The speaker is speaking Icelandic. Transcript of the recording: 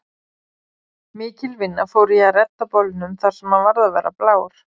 Mikil vinna fór í að redda bolnum þar sem hann varð að vera blár.